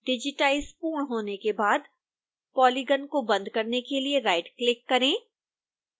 digitise पूर्ण होने के बाद पॉलीगन को बंद करने के लिए राइटक्लिक करें